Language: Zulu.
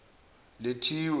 lethiwe